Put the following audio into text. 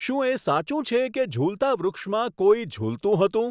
શું એ સાચું છે કે ઝૂલતા વૃક્ષમાં કોઈ ઝૂલતું હતું